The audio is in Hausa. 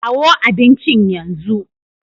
Kawo abincin yanzu!